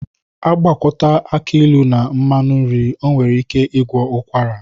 Agwakọta aki ịlụ na mmanụ nri nwere ike ịgwọ ụkwara.